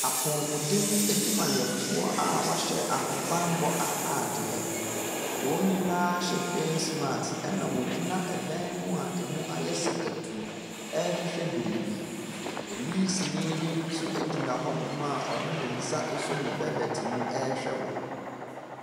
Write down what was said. Apomuden adwumafo a w'ahyɛ ahobanbɔ ataadeɛ. Wɔn nyinaa hyɛ fas maks ɛna wogyina ɛdan mu a emu ayɛ sakatuu ɛhwehwɛ biribi. Polisini bi nso egyina hɔnom a ɔde ne asɔ ne bɛlɛte mu ɛhwɛ wɔn.